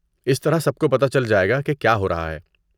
اس طرح سب کو پتہ چل جائے گا کہ کیا ہو رہا ہے۔